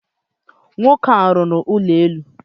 Nwoke a rụrụ ụlọ elu.